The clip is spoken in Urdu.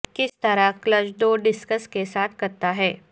کس طرح کلچ دو ڈسکس کے ساتھ کرتا ہے